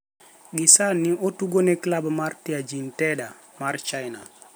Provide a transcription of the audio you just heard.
Gisani otugo ne klab mar Tianjin Teda mar China.